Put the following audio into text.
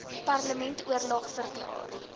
parlement oorlog verklaar